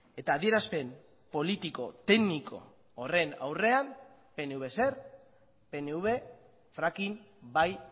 eta adierazpen politiko tekniko horren aurrean pnv zer pnv fracking bai